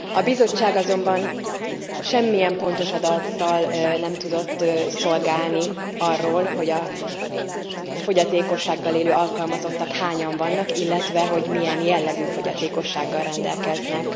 A Bizottság azonban semmilyen pontos adattal nem tudott szolgálni arról, hogy a fogyatékossággal élő alkalmazottak hányan vannak, illetve milyen jellegű fogyatékossággal rendelkeznek.